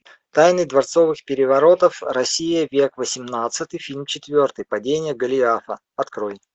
тайны дворцовых переворотов россия век восемнадцатый фильм четвертый падение голиафа открой